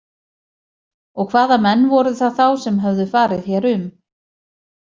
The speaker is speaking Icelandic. Og hvaða menn voru það þá sem höfðu farið hér um?